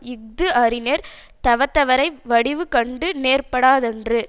இஃது அறிஞர் தவத்தவரை வடிவு கண்டு நேர்படாரென்றது